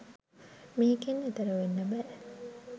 මේකෙන් එතෙර වෙන්න බෑ